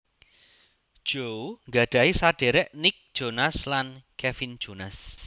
Joe gadhahi saderek Nick Jonas lan Kevin Jonas